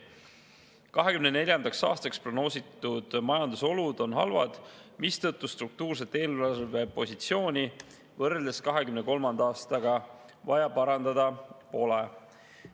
2024. aastaks prognoositud majandusolud on halvad, mistõttu struktuurset eelarvepositsiooni võrreldes 2023. aastaga parandada pole vaja.